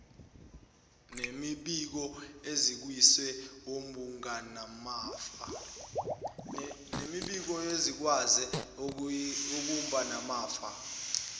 nemibiko ekhishwe wumgadimafa